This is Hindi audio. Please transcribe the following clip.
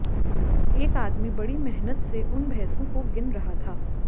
एक आदमी बड़ी मेहनत से उन भैंसो को गिन रहा था